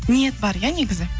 ниет бар иә негізі